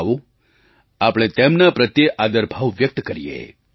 આવો આપણે તેમના પ્રત્યે આદરભાવ વ્યક્ત કરીએ